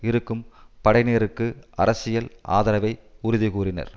இருக்கும் படையினருக்கு அரசியல் ஆதரவை உறுதி கூறினர்